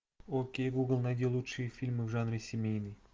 окей гугл найди лучшие фильмы в жанре семейный